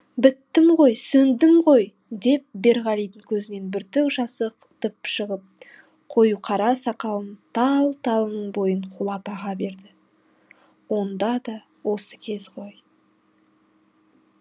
біттім ғой сөндім ғой деп берғалидың көзінен бүртік жасы ытқып шығып қою қара сақалының тал талының бойын қуалап аға берді онда да осы кез ғой